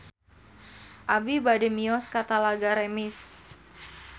Abi bade mios ka Talaga Remis